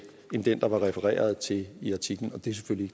end den der var refereret til i artiklen det er selvfølgelig